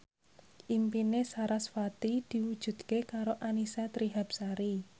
impine sarasvati diwujudke karo Annisa Trihapsari